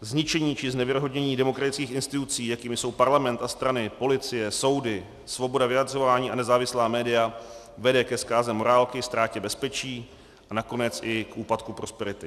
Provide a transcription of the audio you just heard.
Zničení či znevěrohodnění demokratických institucí, jakým jsou parlament a strany, policie, soudy, svoboda vyjadřování a nezávislá média, vede k zkáze morálky, ztrátě bezpečí a nakonec i k úpadku prosperity.